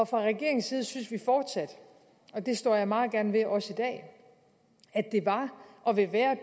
fra regeringens side synes vi fortsat og det står jeg meget gerne ved også i dag at det var og ville være